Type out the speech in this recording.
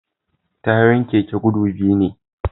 Tayoyin keke guda biyu ne